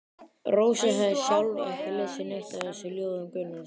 Rósa hafði sjálf ekki lesið neitt af þessum ljóðum Gunnars.